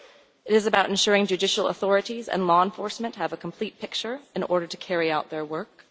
It is about ensuring that judicial authorities and law enforcement agencies have a complete picture in order to carry out their work.